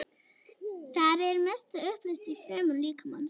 Það er að mestu uppleyst í frumum líkamans.